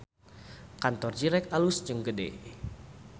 Kantor Zyrex alus jeung gede